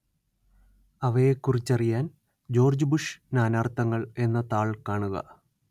അവയെക്കുറിച്ചറിയാന്‍ George Bush നാനാര്‍ത്ഥങ്ങള്‍ എന്ന താള്‍ കാണുക